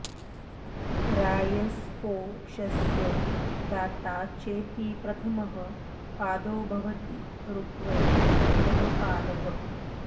रायस्पोषस्य दाता चेति प्रथमः पादो भवति ऋग्वै प्रथमः पादः